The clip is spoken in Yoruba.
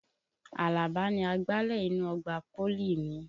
Àlàbá ni agbalẹ̀ inú ọgbà pólì mi.